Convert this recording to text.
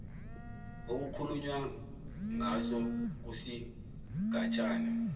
okukhulunywa ngaso kusigatshana